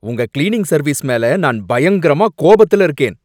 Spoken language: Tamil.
உங்க கிளீனிங் சர்வீஸ் மேல நான் பயங்கரமா கோபத்துல இருக்கேன்.